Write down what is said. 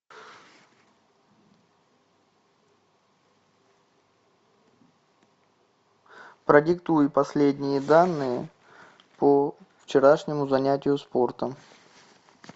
продиктуй последние данные по вчерашнему занятию спортом